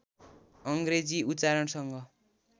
अङ्ग्रेजी उच्चारणसँग